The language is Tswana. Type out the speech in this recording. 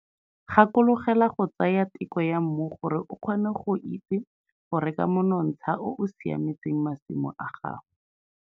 Gakologelwa go tsaya teko ya mmu gore o kgone go itse go reka monontsha o o siametseng masimo a gago.